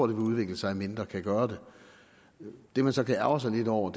vil udvikle sig mindre kan gøre det det man så kan ærgre sig lidt over